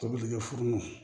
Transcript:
Tobilike furumu